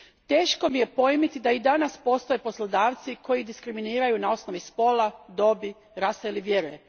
Teško mi je pojmiti da i danas postoje poslodavci koji diskriminiraju na osnovi spola, dobi, rase ili vjere.